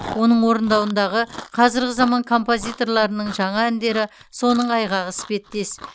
оның орындауындағы қазіргі заман композиторларының жаңа әндері соның айғағы іспеттес